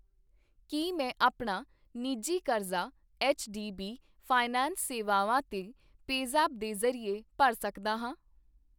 ਕੀ ਮੈਂ ਆਪਣਾ ਨਿੱਜੀ ਕਰਜ਼ਾ ਐੱਚਡੀਬੀ ਫਾਈਨੈਂਸ ਸੇਵਾਵਾਂ ਤੇ ਪੇਜ਼ੈਪ ਦੇ ਜ਼ਰੀਏ ਭਰ ਸਕਦਾ ਹਾਂ ?